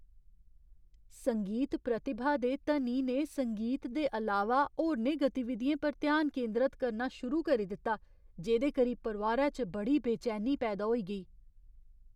संगीत प्रतिभा दे धनी ने संगीत दे अलावा होरनें गतिविधियें पर ध्यान केंदरत करना शुरू करी दित्ता जेह्‌दे करी परोआरै च बड़ी बेचैनी पैदा होई गेई।